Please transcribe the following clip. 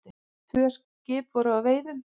Tvö skip voru að veiðum.